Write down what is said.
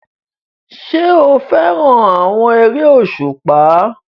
Ṣé o fẹ́ràn àwọn eré òṣùpá?